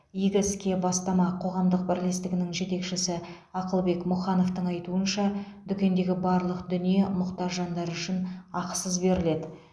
игі ске бастама қоғамдық бірлестігінің жетекшісі ақылбек мұхановтың айтуынша дүкендегі барлық дүние мұқтаж жандар үшін ақысыз беріледі